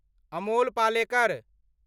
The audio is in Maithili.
अमोल पालेकर